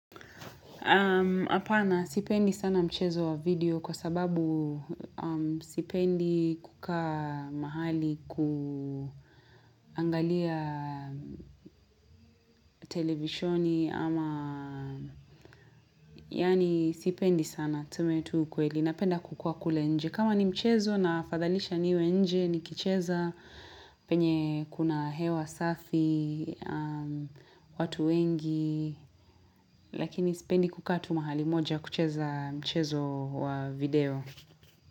Apana sipendi sana mchezo wa video kwa sababu sipendi kukaa mahali kuangalia televishoni ama yaani sipendi sana tusemetu ukweli na penda kukua kule nje. Kama ni mchezo na fadhalisha niwe nje ni kicheza penye kuna hewa safi watu wengi lakini sipendi kukaa tu mahali moja kucheza mchezo wa video.